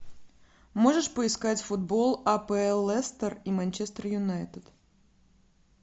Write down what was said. можешь поискать футбол апл лестер и манчестер юнайтед